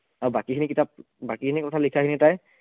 আৰু বাকীখিনি কিতাপ বাকীখিনি কথা লিখাখিনি তাই